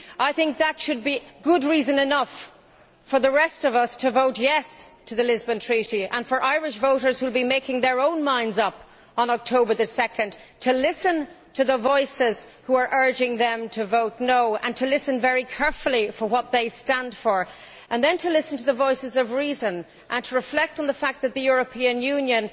I think that should be a good enough reason for the rest of us to vote yes' to the Lisbon Treaty and for Irish voters, who will be making up their own minds on 2 October, to listen to the voices who are urging them to vote no' and to listen very carefully to judge what they stand for, and then to listen to the voices of reason and reflect on the fact that the European Union